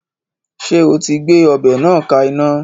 Ṣé o ti gbé ọbẹ̀ náà ka iná